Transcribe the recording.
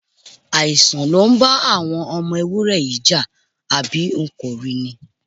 Àìsàn ló ń bá àwọn ọmọ ewúré yìí jà, àbí o kò rí ni?